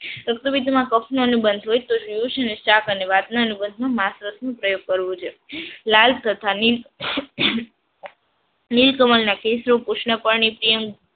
રક્તપીતમાં કફ ન બનતો હોય તો નું શાક અને પ્રયોગ કરવો જોઈએ. લાલ તથા નીલ કમલ ના કેસનું કૃષ્ણ પાણી